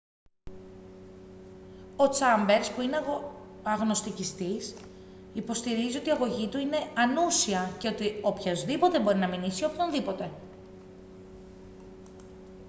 ο τσάμπερς που είναι αγνωστικιστής υποστηρίζει ότι η αγωγή του είναι «ανούσια» και ότι «οποιοσδήποτε μπορεί να μηνύσει οποιονδήποτε»